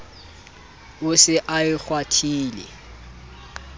o se a e kgwathile